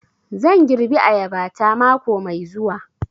Zan girbi ayaba ta mako mai zuwa